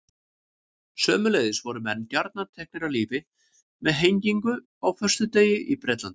Sömuleiðis voru menn gjarnan teknir af lífi með hengingu á föstudegi í Bretlandi.